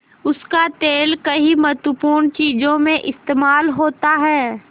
उसका तेल कई महत्वपूर्ण चीज़ों में इस्तेमाल होता है